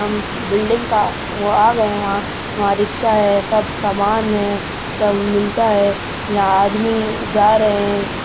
building का गए हैं वहां वहां रिक्शा है सब सामान है सब मिलता है यहां आदमी जा रहें --